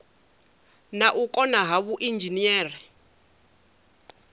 na u kona ha vhuinzhinere